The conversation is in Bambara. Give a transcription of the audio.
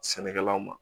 Sɛnɛkɛlaw ma